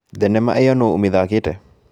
Thenema ĩyo nũ ũmĩthakĩte?